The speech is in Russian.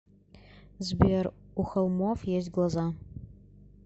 сбер у холмов есть глаза